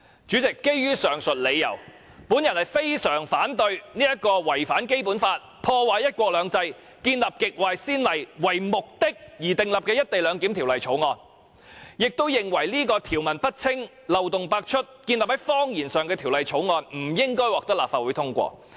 主席，基於上述理由，我非常反對這項為了違反《基本法》、破壞"一國兩制"和開立極壞先例而訂定的《條例草案》，並認為這項條文不清、漏洞百出、建立於謊言上的《條例草案》，不應該獲得立法會通過。